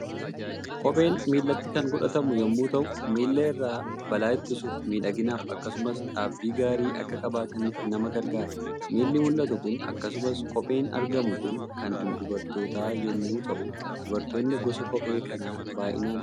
Kopheen miilatti kan godhatamu yommuu ta'u, miilla irraa balaa ittisuuf, miidhaginaaf, akkasumas dhaabbii gaarii akka qabaataniif nama gargaara. Miilli mul'atu kun akkasumas kopheen argamu kun kan dubartootaa yommuu ta'u dubartoonni gosa kophee kanaa baay'inaan ni fayyadamu.